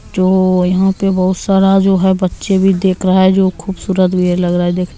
जो यहां पे बोहोत सारा जो है बच्चे भी देख रहा है जो खूबसूरत भी है लग रहा है देख --